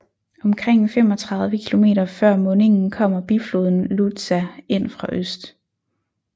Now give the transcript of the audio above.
Omkring 35 km før mundingen kommer bifloden Luza ind fra øst